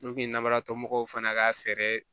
namaratɔmɔɔw fana ka fɛɛrɛ